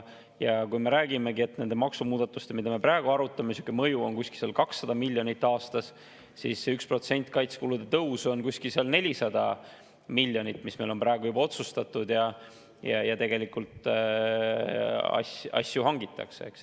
Ja kui me räägime, et nende maksumuudatuste, mida me praegu arutame, mõju on umbes 200 miljonit aastas, siis see 1% kaitsekulude tõusu on umbes 400 miljonit, mis meil on praegu juba otsustatud, ja tegelikult asju hangitakse, eks.